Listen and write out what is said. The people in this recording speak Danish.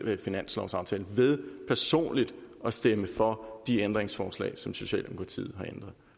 finanslovsaftale ved personligt at stemme for de ændringsforslag som socialdemokratiet